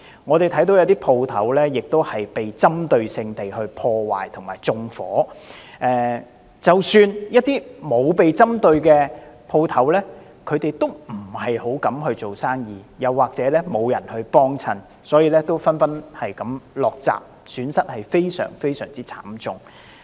我們看到有些商鋪被針對性地破壞和縱火，即使是一些沒有被針對的商鋪，也不太敢做生意，又或是沒有人光顧，所以紛紛落閘，損失非常慘重。